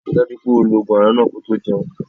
Ri dájú pé o lo ogun aràn náà ko tó jẹun.